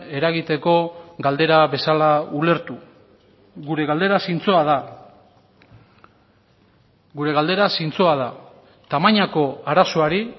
eragiteko galdera bezala ulertu gure galdera zintzoa da gure galdera zintzoa da tamainako arazoari